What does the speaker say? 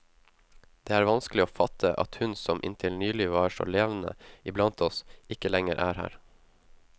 Det var vanskelig å fatte at hun som inntil nylig var så levende iblant oss, ikke lenger er her.